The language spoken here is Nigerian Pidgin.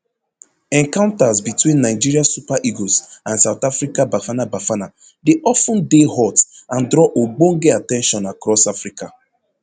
encounters between nigeria super eagles and south africa bafana bafana dey of ten dey hot and draw ogbonge at ten tion across africa